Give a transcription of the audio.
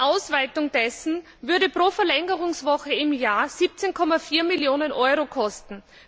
Eine Ausweitung würde pro Verlängerungswoche im Jahr 17,4 Millionen Euro kosten.